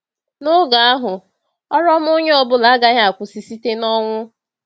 N’oge ahụ, ọrụ ọma onye ọ bụla agaghị akwụsị site n’ọnwụ.